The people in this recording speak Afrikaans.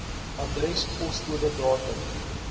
adres poskode datum